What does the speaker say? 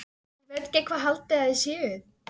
Ég veit ekki hvað þið haldið að þið séuð.